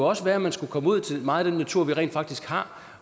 også være at man skulle komme ud i meget af den natur vi rent faktisk har